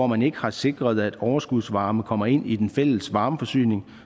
man ikke har sikret at overskudsvarme kommer ind i den fælles varmeforsyning